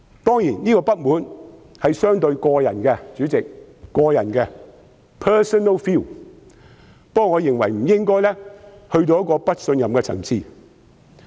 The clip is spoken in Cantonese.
當然，這種不滿是相當個人的，代理主席，這是個人的 ，personal feeling ，但我認為尚未達到不信任的層次。